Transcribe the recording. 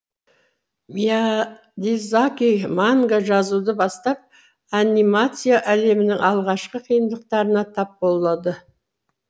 миядзаки манга жазуды бастап анимация әлемінің алғашқы қиындықтарына тап болады